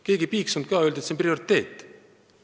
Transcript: Keegi ei piiksunud ka – öeldi, et see on prioriteet.